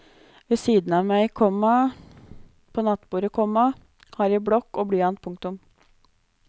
Ved siden av meg, komma på nattbordet, komma har jeg blokk og blyant. punktum